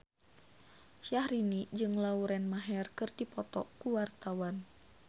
Syahrini jeung Lauren Maher keur dipoto ku wartawan